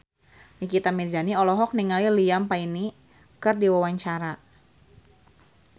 Nikita Mirzani olohok ningali Liam Payne keur diwawancara